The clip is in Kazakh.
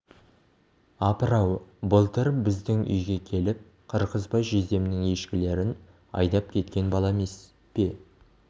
апыр-ау былтыр біздің үйге келіп қырғызбай жездемнің ешкілерін айдап кеткен бала емес пе